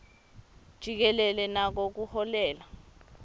jikelele nako kuholela